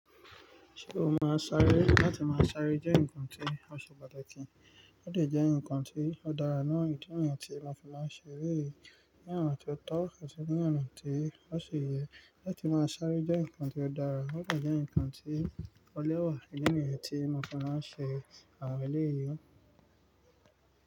Ṣé o máa sáré? Látí máa sáré jẹ́ ǹkan tí ọ́ se patakì í, ó lè jẹ́ ǹkan tí ó dára nínú ìdí ọ̀yìn tí ọkùnrin máa ń ṣe eré, ní àwọn tí ó tó ọ̀tọ̀ tì sí ní àwọn tí ó ṣe iye. Látí máa sáré jẹ́ ǹkan tó dára, ó lè jẹ́ ǹkan tí ó lẹ́wà nínú ìdí niyen tí mo fi máa ń ṣe àwọn eléyi.